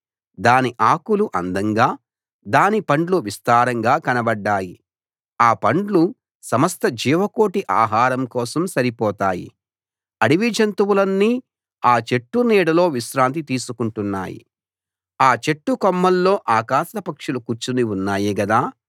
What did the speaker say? దాని ఆకులు అందంగా దాని పండ్లు విస్తారంగా కనబడ్డాయి ఆ పండ్లు సమస్త జీవకోటి ఆహారం కోసం సరిపోతాయి అడవి జంతువులన్నీ ఆ చెట్టు నీడలో విశ్రాంతి తీసుకుంటున్నాయి ఆ చెట్టు కొమ్మల్లో ఆకాశ పక్షులు కూర్చుని ఉన్నాయి గదా